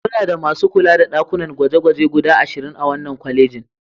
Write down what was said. Muna da masu kula da ɗakunan gwaje-gwaje guda ashirin a wannan kwalejin.